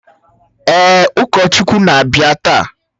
Èè, ụkọchukwu na-abịa taa